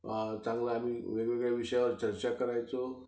चांगलं आम्ही वेगवेगळ्या विषयांवर चर्चा करायचो.